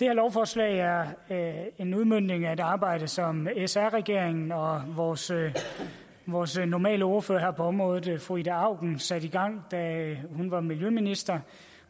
lovforslag er en udmøntning af et arbejde som sr regeringen og vores vores normale ordfører på området fru ida auken satte i gang da hun var miljøminister